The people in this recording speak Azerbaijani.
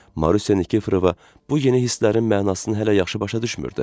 Marusya Nikiforova bu yeni hisslərin mənasını hələ yaxşı başa düşmürdü.